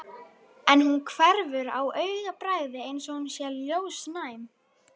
En hún hverfur á augabragði eins og hún sé ljósnæm.